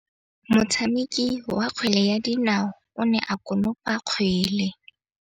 Motshameki wa kgwele ya dinaô o ne a konopa kgwele.